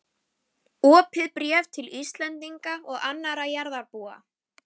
OPIÐ BRÉF TIL ÍSLENDINGA OG ANNARRA JARÐARBÚA.